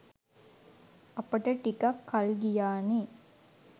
අපට ටිකක් කල් ගියානේ.